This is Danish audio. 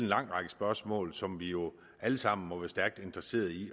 lang række spørgsmål som vi jo alle sammen må være stærkt interesserede i